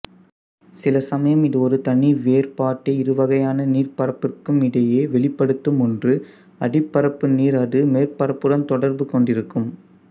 சிலசமயம் இதுஒரு தனிவேறுபாட்டை இருவகை யான நீர்ப்பரப்பிற்கும் இடையே வெளிப்படுத்தும் ஒன்று அடிப்பரப்பு நீர் அது மேற்பரப்புடன் தொடர்பு கொண்டிருக்கும்